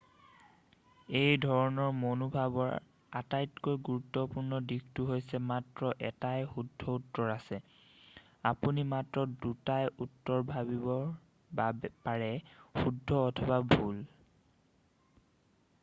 এই ধৰণৰ মনোভাৱৰ আটাইতকৈ গুৰুত্বপূৰ্ণ দিশটো হৈছে মাত্ৰ এটাই শুদ্ধ উত্তৰ আছে আপুনি মাত্ৰ দুটাই উত্তৰ ভাবিব পাৰে শুদ্ধ অথবা ভুল